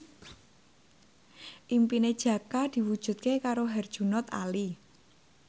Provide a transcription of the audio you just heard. impine Jaka diwujudke karo Herjunot Ali